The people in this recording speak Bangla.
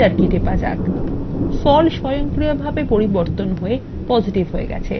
স্বয়ংক্রিয়ভাবে ফল পরিবর্তন হয়ে positive হবে